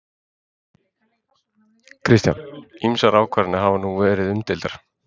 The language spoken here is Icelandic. Kristján: Ýmsar ákvarðanir hafa nú verið umdeildar?